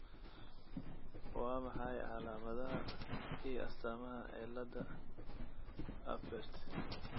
Waa maxay calaamadaha iyo calaamadaha cillada Apert?